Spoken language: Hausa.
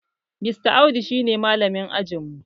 Mr audu shi ne malamin ajin mu